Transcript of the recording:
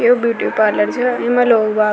ये beauty parlour छे ईम लोग बाग --